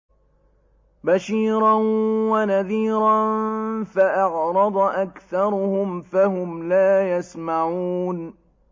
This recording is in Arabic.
بَشِيرًا وَنَذِيرًا فَأَعْرَضَ أَكْثَرُهُمْ فَهُمْ لَا يَسْمَعُونَ